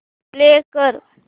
play कर